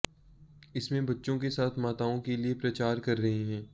इसमें बच्चों के साथ माताओं के लिए प्रचार कर रहे हैं